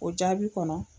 O jaabi kɔnɔ